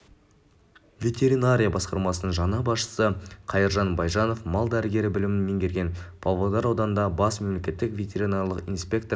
ветеринария басқармасының жаңа басшысы қайыржан байжанов мал дәрігері білімін меңгерген павлодар ауданындағы бас мемлекеттік ветеринарлық инспектор